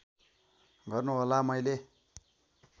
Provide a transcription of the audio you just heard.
गर्नु होला मैले